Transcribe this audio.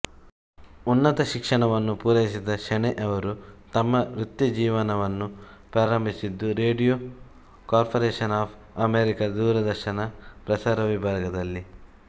ಉನ್ನತ ಶಿಕ್ಷಣವನ್ನು ಪೂರೈಸಿದ ಶೆಣೈಯವರು ತಮ್ಮ ವೃತ್ತಿಜೀವನವನ್ನು ಪ್ರಾರಂಭಿಸಿದ್ದು ರೇಡಿಯೊ ಕಾರ್ಪೋರೇಶನ್ ಆಫ್ ಅಮೇರಿಕಾದ ದೂರದರ್ಶನ ಪ್ರಸಾರ ವಿಭಾಗದಲ್ಲಿ